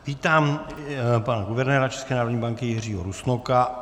Vítám pana guvernéra České národní banky Jiřího Rusnoka.